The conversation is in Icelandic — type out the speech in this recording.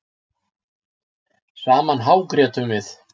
Saman hágrétum við.